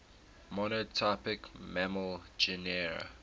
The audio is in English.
monotypic mammal genera